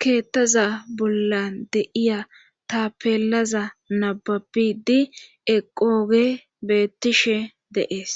keettaza bolla de'iya tapelaza nababidi eqogey bettishe de'ees